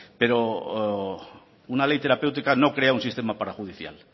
pero una ley terapéutica no crea un sistema parajudicial